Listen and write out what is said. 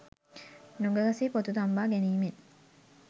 නුග ගසෙහි පොතු තම්බා ගැනීමෙන්